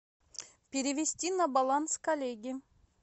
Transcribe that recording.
перевести на баланс коллеги